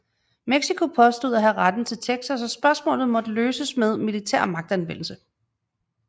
Mexico påstod at have retten til Texas og spørgsmålet måtte løses med militær magtanvendelse